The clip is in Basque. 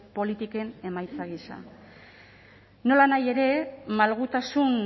politiken emaitza gisa nolanahi ere malgutasun